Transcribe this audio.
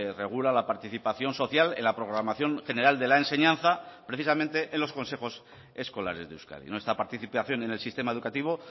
regula la participación social en la programación general de la enseñanza precisamente en los consejos escolares de euskadi nuestra participación en el sistema educativo